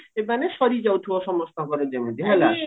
ମାନେ ସରିଯାଉଥିବ ସମସ୍ତଙ୍କର ଯେମିତି ହେଲା